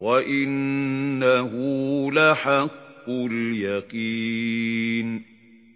وَإِنَّهُ لَحَقُّ الْيَقِينِ